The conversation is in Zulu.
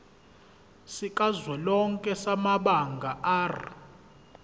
sikazwelonke samabanga r